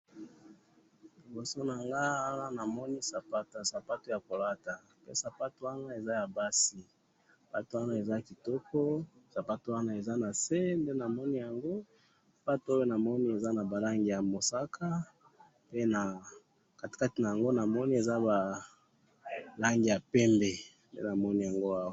Liboso nangayi awa namoni sapato, sapato yakolata, sapato wana eza yabasi, sapato wana eza kitoko, sapato wana eza nase ndenamoni yango, sapato oyo namoni eza nabalangi yamosaka, pe na katikati naango namoni eza nalangi yapembe, ndenamoni yango awa